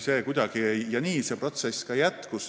Ja nii see protsess ka jätkus.